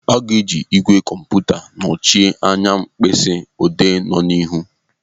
Aga eji igwè kọmputa nochie anya mkpịsị odee no ọdịnihu.